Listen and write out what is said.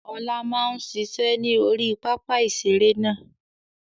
Ọlá máa ń ṣiṣẹ́ ni orí pápá ìṣeré náà